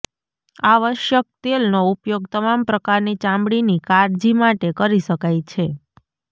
આવશ્યક તેલનો ઉપયોગ તમામ પ્રકારની ચામડીની કાળજી માટે કરી શકાય છે